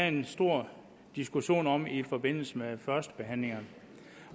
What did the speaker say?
en stor diskussion om i forbindelse med førstebehandlingen